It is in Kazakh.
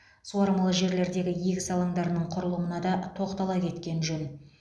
суармалы жерлердегі егіс алаңдарының құрылымына да тоқтала кеткен жөн